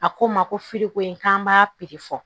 A ko n ma ko ko in k'an b'a piri fɔ